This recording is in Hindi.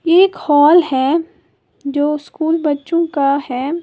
एक हॉल है जो स्कूल बच्चों का है।